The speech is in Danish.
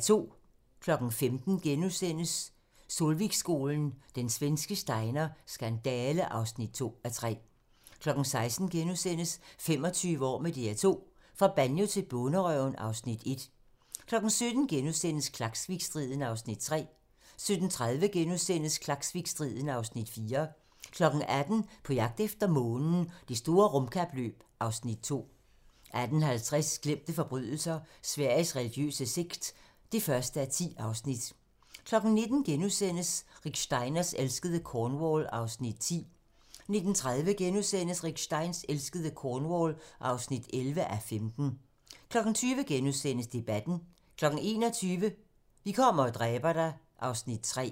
15:00: Solvikskolen – Den svenske Steiner skandale (2:3)* 16:00: 25 år med DR2 - fra Banjo til Bonderøven (Afs. 1)* 17:00: Klaksvikstriden (Afs. 3)* 17:30: Klaksvikstriden (Afs. 4)* 18:00: På jagt efter månen - Det store rumkapløb (Afs. 2) 18:50: Glemte forbrydelser - Sveriges religiøse sekt (1:10) 19:00: Rick Steins elskede Cornwall (10:15)* 19:30: Rick Steins elskede Cornwall (11:15)* 20:00: Debatten * 21:00: Vi kommer og dræber dig... (Afs. 3)